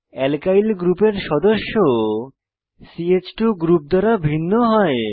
alkyl গ্রুপের সদস্য চ2 গ্রুপ দ্বারা ভিন্ন হয়